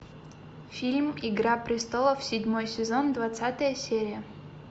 фильм игра престолов седьмой сезон двадцатая серия